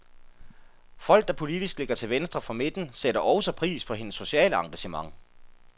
Folk, der politisk ligger til venstre for midten, sætter også pris på hendes sociale engagement.